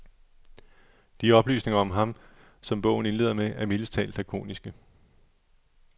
De oplysninger om ham, som bogen indleder med, er mildest talt lakoniske.